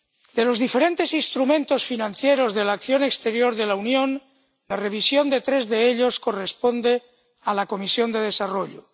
De los diferentes instrumentos financieros de la acción exterior de la Unión, la revisión de tres de ellos corresponde a la Comisión de Desarrollo.